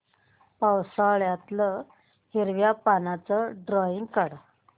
पावसाळ्यातलं हिरव्या पानाचं ड्रॉइंग काढ